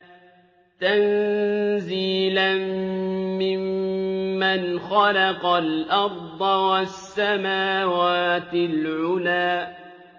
تَنزِيلًا مِّمَّنْ خَلَقَ الْأَرْضَ وَالسَّمَاوَاتِ الْعُلَى